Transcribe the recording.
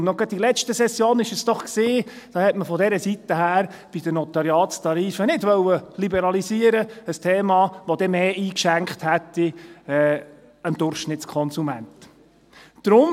Es war doch erst gerade in der letzten Session, dass man bei den Notariatstarifen von dieser Seite her nicht liberalisieren wollte – bei einem Thema, das dem Durchschnittskonsumenten mehr eingeschenkt hätte.